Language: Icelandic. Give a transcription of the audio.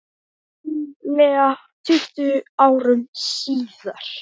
Ríflega tuttugu árum síðar.